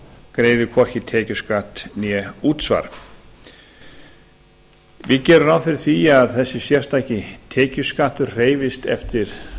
greiði hvorki tekjuskatt né útsvar við gerum ráð fyrir því að þessi sérstaki tekjuskattur hreyfist eftir